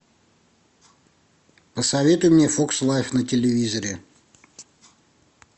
посоветуй мне фокс лайф на телевизоре